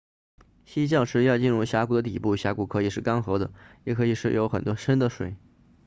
溪降时要进入峡谷的底部峡谷可以是干涸的也可以有很深的水